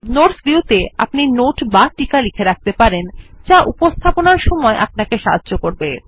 notes view ত়ে আপনি note বা টীকা লিখে রাখতে পারেন যা উপস্থাপনার সময় আপনাকে সাহায্য করবে